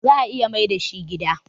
za a iya Maida shi gida.?